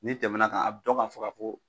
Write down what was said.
N'i tɛmɛ n'a kan a bi dɔn ka fɔ ka fɔ